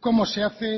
cómo se hace